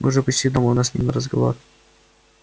мы уже почти дома у нас с ним разговор